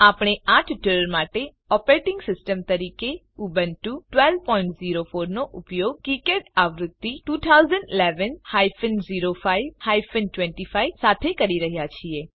આપણે આ ટ્યુટોરીયલ માટે ઓપરેટીંગ સિસ્ટમ તરીકે ઉબુન્ટુ 1204 નો ઉપયોગ કિકાડ આવૃત્તિ 2011 હાયફન 05 હાયફન 25 સાથે કરી રહ્યા છીએ